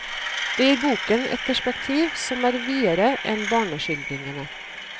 Det gir boken et perspektiv som er videre enn barneskildringene.